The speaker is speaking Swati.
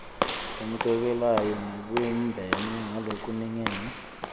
lemukelekako nalebumbene ngalokulingene